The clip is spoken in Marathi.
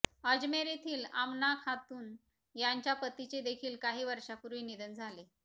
अजमेर येथील आमना खातून यांच्या पतीचे देखील काही वर्षांपूर्वी निधन झाले